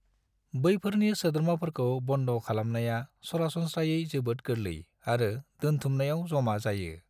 बैफोरनि सोद्रोमाफोरखौ बन्द' खालामनाया सरासनस्रायै जोबोद गोरलै आरो दोन्थुमनायाव जमा जायो।